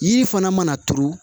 Yiri fana mana turu